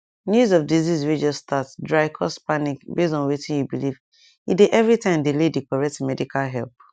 news of disease way just start dry cause panic base on wetin you believe e dey every time delay the correct medical help